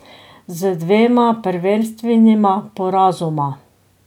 Z dvema prvenstvenima porazoma.